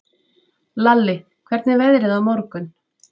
Lalli, hvernig er veðrið á morgun?